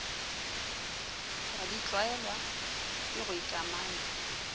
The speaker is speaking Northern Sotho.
wa ditlwaelwa ke go ikamanya